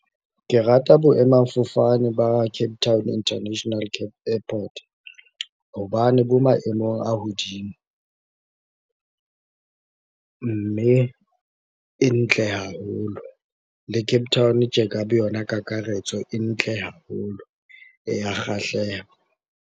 Ke rata boemafofane ba Cape Town International Airport. Hobane bo maemong a hodimo, mme e ntle haholo. Le Capetown tje ka boyona kakaretso e ntle haholo, e ya kgahleha.